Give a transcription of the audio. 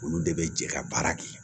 Olu de bɛ jɛ ka baara kɛ